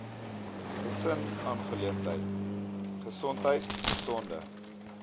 gesinsaangeleenthede gesondheid gesonde